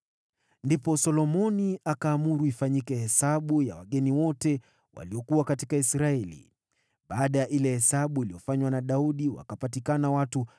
Ndipo Solomoni akaamuru ifanyike hesabu ya wageni wote waliokuwa katika Israeli, baada ya ile hesabu iliyofanywa na Daudi; wakapatikana watu 153,600.